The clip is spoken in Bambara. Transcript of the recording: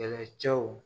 Kɛlɛcɛw